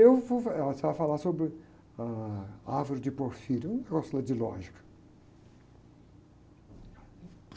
Ela estava a falar sobre ah, a árvore de porfírio, um negócio lá de lógica.